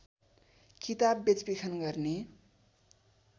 किताब बेचबिखन गर्ने